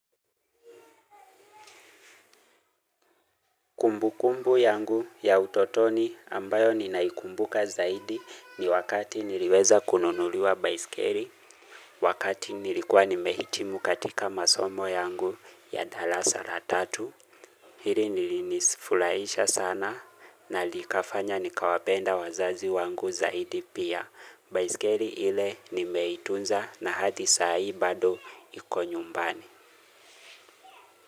Kumbu kumbu yangu ya utotoni ambayo ninaikumbuka zaidi ni wakati niliweza kununuliwa baiskeli. Wakati nilikuwa nimehitimu katika masomo yangu ya darasa la tatu. Hili lilinifurahisha sana na likafanya nikawapenda wazazi wangu zaidi pia. Baiskeli ile nimeitunza na hadi saa hii bado iko nyumbani.